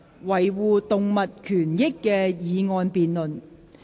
"維護動物權益"的議案辯論。